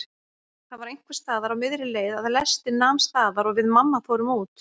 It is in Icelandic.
Það var einhversstaðar á miðri leið að lestin nam staðar og við mamma fórum út.